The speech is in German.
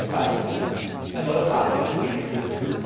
Zweitens erneuerbare Energien.